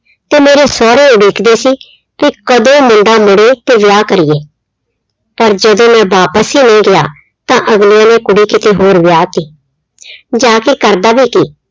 ਤੇ ਮੇਰੇ ਸਹੁਰੇ ਇਹ ਦੇਖਦੇ ਸੀ ਕਿ ਕਦੋਂ ਮੁੰਡਾ ਮੁੜੇ ਤੇ ਵਿਆਹ ਕਰੀਏ, ਪਰ ਜਦੋਂ ਮੈਂ ਵਾਪਸ ਹੀ ਨਹੀਂ ਗਿਆ ਤਾਂ ਅਗਲੇ ਨੇ ਕੁੜੀ ਕਿਤੇ ਹੋਰ ਵਿਆਹ ਦਿੱਤੀ ਜਾ ਕੇ ਕਰਦਾ ਵੀ ਕੀ